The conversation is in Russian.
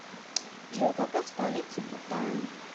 джой какая столица бутан